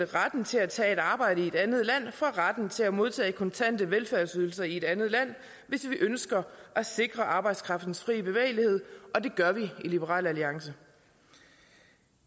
retten til at tage et arbejde i et andet land fra retten til at modtage kontante velfærdsydelser i et andet land hvis vi ønsker at sikre arbejdskraftens fri bevægelighed og det gør vi i liberal alliance